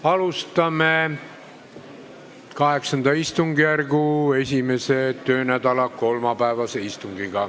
Alustame VIII istungjärgu 1. töönädala kolmapäevast istungit.